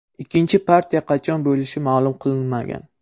Ikkinchi partiya qachon bo‘lishi ma’lum qilinmagan.